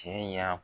Cɛ y'a